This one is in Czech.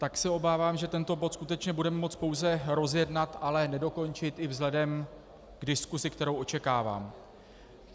Tak se obávám, že tento bod skutečně budeme moci pouze rozjednat, ale nedokončit i vzhledem k diskusi, kterou očekávám.